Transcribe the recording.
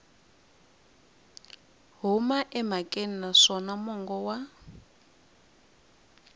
huma emhakeni naswona mongo wa